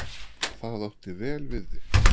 Það átti vel við þig.